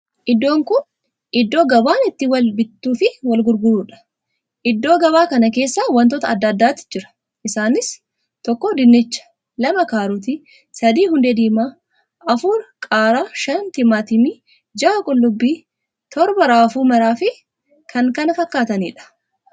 Iddoon kun iddoo gabaan itti Wal bittuu fi Wal gurguruudha. iddoo gabaa kana keessa wantoota addaa addaatti jira. isanis tokko dinnicha, lama karootii, sadii hundee diimaa, afur qaaraa, shan timaatimii, jaha qullubbii, torban raafuu maraa Fi kan kana fakkaataniidha.